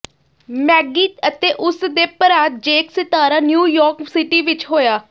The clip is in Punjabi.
ਮੈਗੀ ਅਤੇ ਉਸ ਦੇ ਭਰਾ ਜੇਕ ਸਿਤਾਰਾ ਨਿਊਯਾਰਕ ਸਿਟੀ ਵਿਚ ਹੋਇਆ